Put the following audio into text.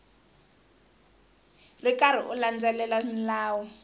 ri karhi u landzelela milawu